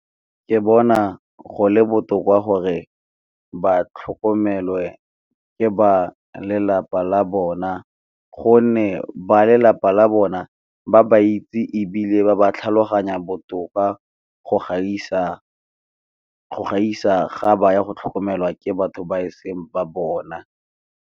Ke bona go le botoka gore ba tlhokomelwe ke ba lelapa la bona gonne ba lelapa la bona ba ba itse, ebile ba ba tlhaloganya botoka go gaisa ga ba ya go tlhokomelwa ke batho ba eseng ba bona.